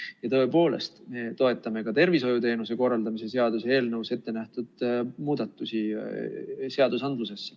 Ja tõepoolest, me toetame ka tervishoiuteenuste korraldamise seaduse eelnõus ettenähtud muutusi.